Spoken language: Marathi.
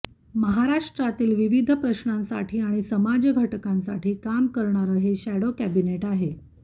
महाराष्ट्रातील विविध प्रश्नांसाठी आणि समाजघटकांसाठी काम करणारं हे शॅडो कॅबिनेट आहे